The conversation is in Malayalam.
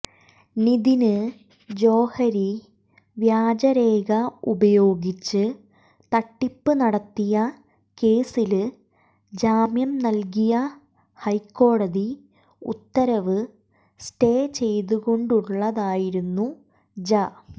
നിതിന് ജോഹരി വ്യാജരേഖ ഉപയോഗിച്ച് തട്ടിപ്പ് നടത്തിയ കേസില് ജാമ്യം നല്കിയ ഹൈക്കോടതി ഉത്തരവ് സ്റ്റേ ചെയ്തുകൊണ്ടുള്ളതായിരുന്നു ജ